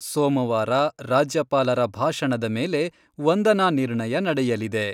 ಸೊಮವಾರ ರಾಜ್ಯಪಾಲರ ಭಾಷಣದ ಮೇಲೆ ವಂದನಾ ನಿರ್ಣಯ ನಡೆಯಲಿದೆ.